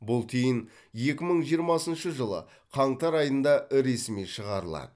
бұл тиын екі мың жиырмасыншы жылы қаңтар айында ресми шығарылады